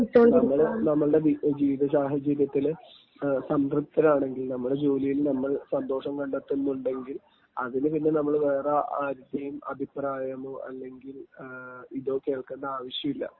നമ്മള്, നമ്മുടെ ജീവിത സാഹചര്യത്തില് സംതൃപ്തരാണെങ്കിൽ, നമ്മുടെ ജോലിയിൽ നമ്മൾ സന്തോഷം കണ്ടെത്തുന്നുണ്ടെങ്കിൽ അതിനു പിന്നെ നമ്മൾ വേറെ ആരുടേയും അഭിപ്രായമോ അല്ലെങ്കിൽ ഇതോ കേൾക്കേണ്ട ആവശ്യമില്ല.